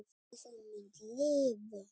Og þú munt lifa!